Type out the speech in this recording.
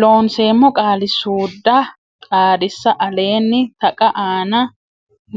Loonseemmo Qaali suudda Xaadisa Aleenni taqa aana